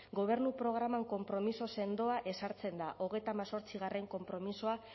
gobernu programan konpromiso sendoa ezartzen da hogeita hemezortzigarrena konpromisoa